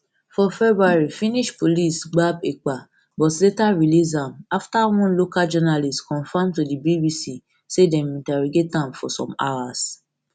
for february finnish police gbab ekpa but later release am afta one local journalist confam to di bbc say dem interrogated for some hours